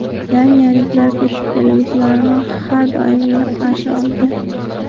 Daniyaliklar ko‘chib keluvchilarni har doim iliq qarshi olgan.